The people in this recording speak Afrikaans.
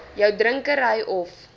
jou drinkery of